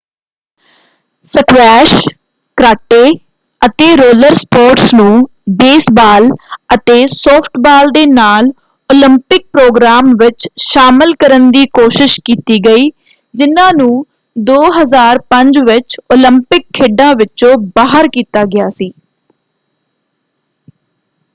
Squash karate ਅਤੇ roller sports ਨੂੰ baseball ਅਤੇ ਸੌਫਟਬਾਲ ਦੇ ਨਾਲ ਓਲੰਪਿਕ ਪ੍ਰੋਗਰਾਮ ਵਿੱਚ ਸ਼ਾਮਲ ਕਰਨ ਦੀ ਕੋਸ਼ਿਸ਼ ਕੀਤੀ ਗਈ ਜਿਨ੍ਹਾਂ ਨੂੰ 2005 ਵਿੱਚ ਓਲੰਪਿਕ ਖੇਡਾਂ ਵਿਚੋਂ ਬਾਹਰ ਕੀਤਾ ਗਿਆ ਸੀ।